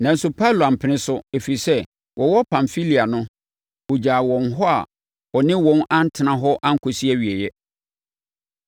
nanso Paulo ampene so, ɛfiri sɛ, wɔwɔ Pamfilia no, ɔgyaa wɔn hɔ a ɔne wɔn antena hɔ ankɔsi awieeɛ.